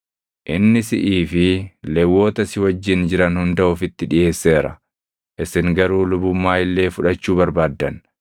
Inni siʼii fi Lewwota si wajjin jiran hunda ofitti dhiʼeesseera; isin garuu lubummaa illee fudhachuu barbaaddan.